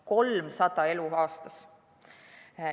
300 elu aastas.